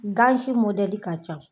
Gan si modɛli ka ca.